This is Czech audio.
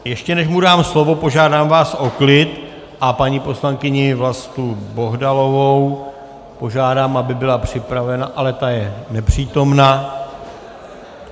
Ještě než mu dám slovo, požádám vás o klid a paní poslankyni Vlastu Bohdalovou požádám, aby byla připravena - ale ta je nepřítomna.